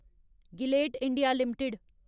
Gillette India limited